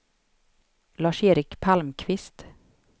Lars-Erik Palmqvist